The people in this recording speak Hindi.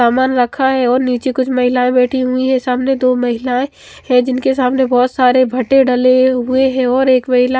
सामान रखा है और नीचे कुछ महिलाएं बैठी हुई है सामने दो महिलाएं है जिनके सामने बहोत सारे डले हुए हैं और एक महिला--